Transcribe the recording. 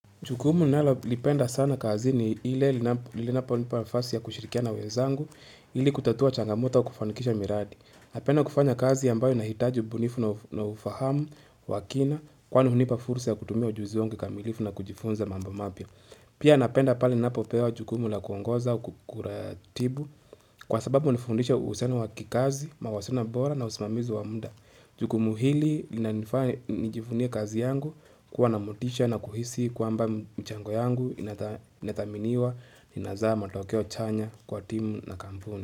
Jukumu ninalolipenda sana kazi ni lile linapo nipa nafasi ya kushirikia na wezangu, hili kutatua changamota ya kufanikisha miradi. Napenda kufanya kazi ambayo inahitaji ubunifu na ufahamu, wakina, kwa nuhunipa fursa ya kutumia ujuzi wangu kikamilifu na kujifunza mamba mapya. Pia napenda pale ninapopewa jukumu la kuongoza ua kuratibu kwa sababu unifundisha uhusiano wa kikazi, mawasiliano mbora na usimamizi wa muda. Jukumu hili linanifanya nijivunie kazi yangu kuwa na motisha na kuhisi kwamba mchango yangu inathaminiwa inazaa matokeo chanya kwa timu na kampuni.